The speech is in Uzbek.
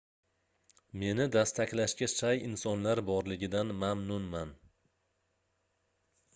meni dastaklashga shay insonlar borligidan mamnunman